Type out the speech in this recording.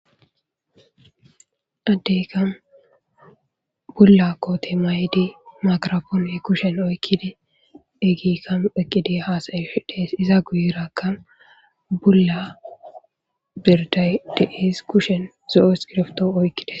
Addekka bulla koththe mayidi Makirappone kushen oykidi gigan hasa'shshe dess izza guyerakka bulla birdayi dess kushen zoo' iskoiribtho oyqides.